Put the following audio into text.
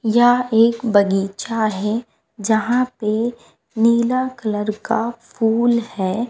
यह एक बगीचा है यहां पे नीला कलर का फूल है।